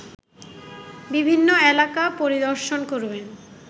বিভিন্ন এলাকা পরিদর্শনকরবেন